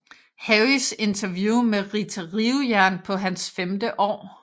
Harrys interview med Rita Rivejern på hans femte år